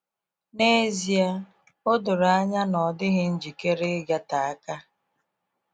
Nezịe a, odoro anya na ọ dịghị njikere igata aka.